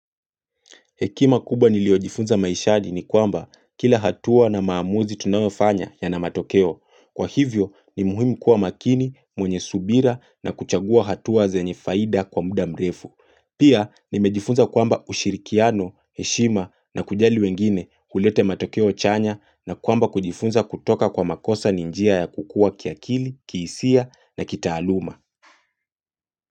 Hekima kubwa niliojifunza maishani ni kwamba kila hatua na maamuzi tunaofanya yana matokeo. Kwa hivyo ni muhimu kuwa makini, mwenye subira na kuchagua hatua zenye faida kwa muda mrefu. Pia nimejifunza kwamba ushirikiano, heshima na kujali wengine hulete matokeo chanya na kwamba kujifunza kutoka kwa makosa ni njia ya kukua kiakili, kiisia na kitaaluma.